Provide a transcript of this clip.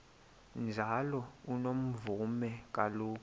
njalo unomvume kuloko